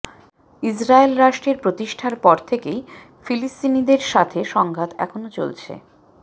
Israel রাষ্ট্রের প্রতিষ্ঠার পর থেকেই ফিলিস্তিনীদের সাথে সংঘাত এখনো চলছে